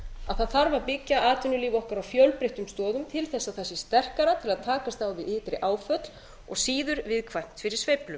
að það þarf að byggja atvinnulíf okkar á fjölbreyttum stoðum til þess að það sé sterkara til að takast á við ytri áföll og síður viðkvæmt fyrir sveiflum